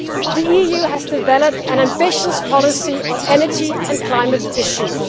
The EU has developed an ambitious policy on energy and climate issues.